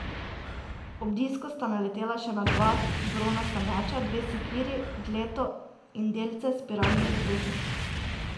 Ob disku sta naletela še na dva bronasta meča, dve sekiri, dleto in delce spiralnih zapestnic.